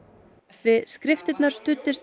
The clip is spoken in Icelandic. við skriftirnar studdist